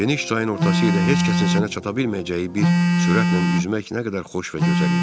Geniş çayın ortası ilə heç kəsin sənə çata bilməyəcəyi bir sürətlə üzmək nə qədər xoş və gözəl idi.